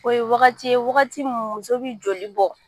O ye wagati ye ,wagati mun muso bɛ joli bɔn